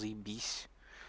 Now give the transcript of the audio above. заебись